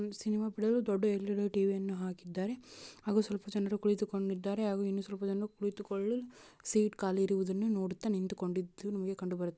Cinema ಬಿಡಲು ದೊಡ್ಡ LED. TV ಯನ್ನು ಹಾಕಿದ್ದಾರೆ ಹಾಗೂ ಸ್ವಲ್ಪ ಜನರು ಕುಳಿತುಕೊಂಡಿದ್ದಾರೆ ಹಾಗೂ ಇನ್ನು ಸ್ವಲ್ಪ ಜನರು ಕುಳಿತುಕೊಳ್ಳಲು ಸೀಟ್ ಖಾಲಿ ಇರುವುದನ್ನು ನೋಡುತ್ತಾ ನಿಂತುಕೊಂಡಿದ್ದು ನಮಗೆ ಕಂಡು ಬರುತ್ತಿದೆ.